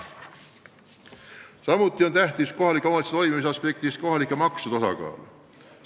Kohalike omavalitsuste valimise aspektist on tähtis kohalike maksude osakaal tuludes.